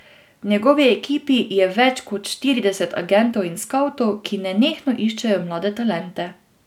V njegovi ekipi je več kot štirideset agentov in skavtov, ki nenehno iščejo mlade talente.